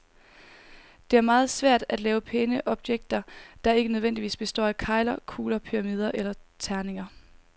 Det er meget svært at lave pæne objekter, der ikke nødvendigvis består af kegler, kugler, pyramider eller terninger.